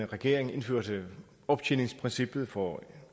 regering indførte optjeningsprincippet for